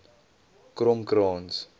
kromkrans